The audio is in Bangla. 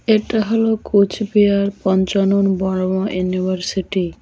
এটা হল কোচবিহার পঞ্চানন বর্মা ইউনিভার্সিটি ।